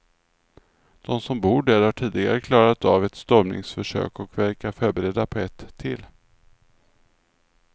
De som bor där har tidigare klarat av ett stormningsförsök och verkar förberedda på ett till.